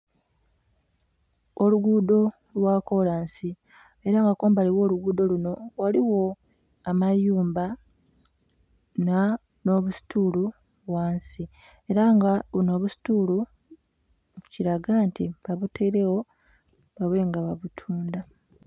Oluguudho lwa kolansi, ela nga kumbali gh'oluguudho luno ghaligho amayumba, nh'obusituulu ghansi. Ela nga buno obusituulu kilaga nti babutailegho babe nga babutundha.